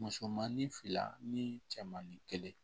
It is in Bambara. Musomannin fila ni cɛmanin kelen